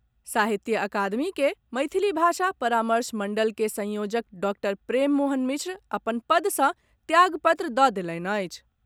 साहित्य अकादमी के मैथिली भाषा परामर्श मंडल के संयोजक डॉक्टर प्रेम मोहन मिश्र अपन पद सँ त्याग पत्र दऽ देलनि अछि।